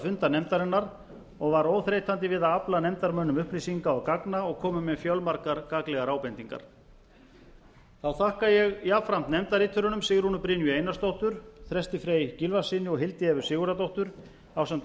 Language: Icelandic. funda nefndarinnar og var óþreytandi við að afla nefndarmönnum upplýsinga og gagna og kom með fjölmargar gagnlegar ábendingar þá þakka ég jafnframt nefndarriturunum sigrúnu brynju einarsdóttur þresti frey gylfasyni og hildi evu sigurðardóttur ásamt